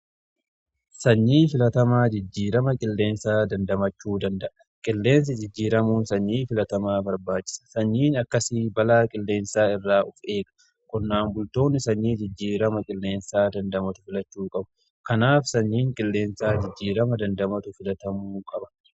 sanyii filatamaan jijjiirama qilleensaa dandamachuu danda'a. qilleensi jijjiiramuun sanyii filatamaa barbaachisa. sanyiin akkasii balaa qilleensaa irraa of eega. Qonnaan bultoonni sanyii jijjiirama qilleensaa dandamatu filachuu qabu. kanaaf sanyiin qilleensaa jijjiirama dandamatu filatamuu qaba.